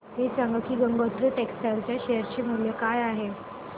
हे सांगा की गंगोत्री टेक्स्टाइल च्या शेअर चे मूल्य काय आहे